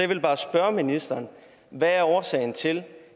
vil bare spørge ministeren hvad er årsagen til